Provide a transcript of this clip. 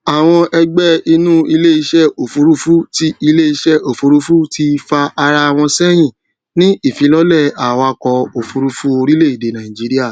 àwọn ẹgbẹ inú iléisẹ òfurufú ti iléisẹ òfurufú ti fà ará wọn sẹyìn ní ìfilọlẹ awakọ òfurufú orílẹèdè nàìjíríà